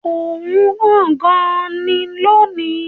Oòrùn ràn gan-an ni lónìí